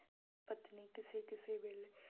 ਪਤਨੀ ਕਿਸੇ ਕਿਸੇ ਵੇਲੇ